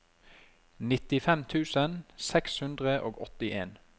nittifem tusen seks hundre og åttien